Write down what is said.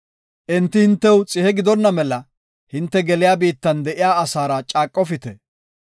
Enti hintew xihe gidonna mela hinte geliya biittan de7iya asaara caaqofite.